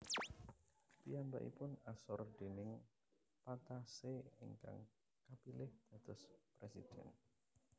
Piyambakipun asor déning Patassé ingkang kapilih dados presiden